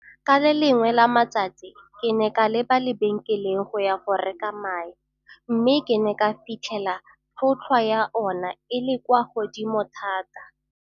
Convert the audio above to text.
Ka le lengwe la matsatsi ke ne ka leba lebenkeleng go ya go reka mae mme ke ne ka fitlhela tlhotlhwa ya ona e le kwa godimo thata.